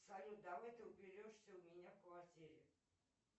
салют давай ты уберешься у меня в квартире